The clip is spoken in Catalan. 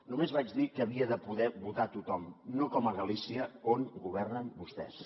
només vaig dir que havia de poder votar tothom no com a galícia on governen vostès